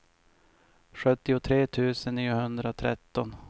sjuttiotre tusen niohundratretton